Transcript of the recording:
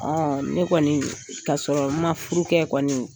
ne kɔni k'a sɔrɔ furu kɛ kɔni ,